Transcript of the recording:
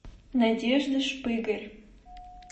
надежда шпыгарь